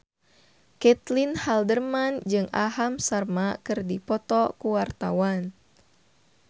Caitlin Halderman jeung Aham Sharma keur dipoto ku wartawan